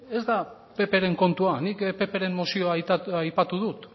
ez da ppren kontua nik ppren mozioa aipatu dut